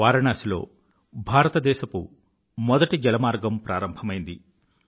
వారణాసి లో భారతదేశ మొదటి జలమార్గం ప్రారంభమైంది